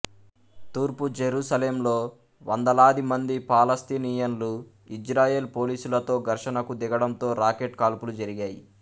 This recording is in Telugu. తూర్పు జెరూసలేంలో వందలాది మంది పాలస్తీనియన్లు ఇజ్రాయెల్ పోలీసులతో ఘర్షణకు దిగడంతో రాకెట్ కాల్పులు జరిగాయి